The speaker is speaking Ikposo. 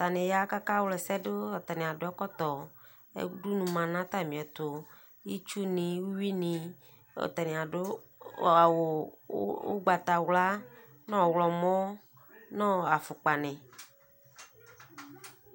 Atani ya kʋ aka wla ɛsɛdʋ atani adʋ ɛkɔtɔ ʋdʋnʋ ma nʋ atami ɛtʋ itsʋni uwini atani adʋ awʋ ʋgbatawla nʋ ɔwlɔmɔ nʋ afukpani